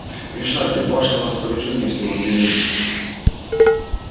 решайте в вашем распоряжении всего две минуты